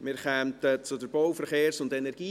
Wir kämen zur BVE.